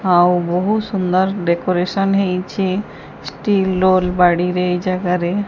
ଆଉ ବୋହୁତ ସୁନ୍ଦର୍ ଡେକୋରେସନ୍ ହେଇଛି ଷ୍ଟିଲ୍ ଲୋଲ୍ ବାଡ଼ିରେ ଏଇ ଜାଗାରେ।